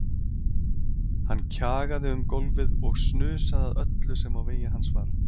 Hann kjagaði um gólfið og snusaði að öllu sem á vegi hans varð.